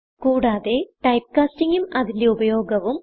കൂടാതെ ടൈപ്പ്കാസ്റ്റിംഗ് ഉം അതിന്റെ ഉപയോഗവും